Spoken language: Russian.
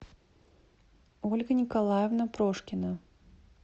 ольга николаевна прошкина